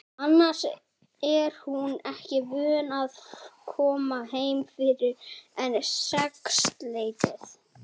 Annars er hún ekki vön að koma heim fyrr en um sexleytið.